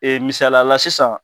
Ee misaliya la sisan